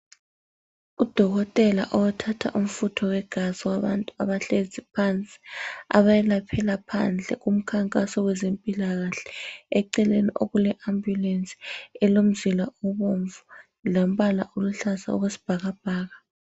Udokotela othatha umfutho wegazi wabantu abahlezi phansi abayelaphela phandle kumkhankaso wezempilakahle. Eceleni kule ambulensi elomzila obomvu lombala oluhlaza okwesibhakabhaka.